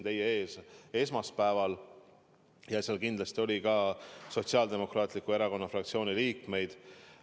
Aga seal oli kindlasti ka Sotsiaaldemokraatliku Erakonna fraktsiooni liikmeid.